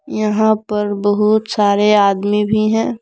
यहां पर बहुत सारे आदमी भी हैं।